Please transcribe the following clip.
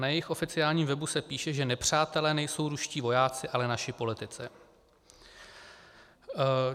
Na jejich oficiálním webu se píše, že nepřátelé nejsou ruští vojáci, ale naši politici.